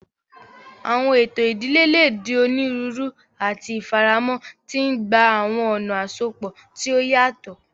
Awọn eto idile le di oniruuru ati ifaramọ, ti ngba awọn ọna asopọ ti o yatọ.